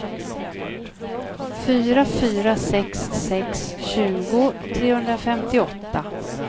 fyra fyra sex sex tjugo trehundrafemtioåtta